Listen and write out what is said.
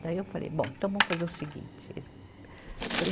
Daí eu falei, bom, então vamos fazer o seguinte. Ele. Falei